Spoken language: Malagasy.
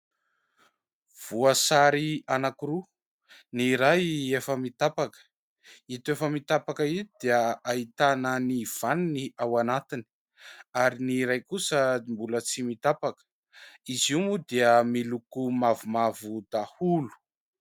Voasary anankiroa, ny iray efa mitapaka. Ito efa mitapaka ito dia ahitana ny vaniny ao anatiny ary ny iray kosa mbola tsy mitapaka ; izy io moa dia miloko mavomavo daholo.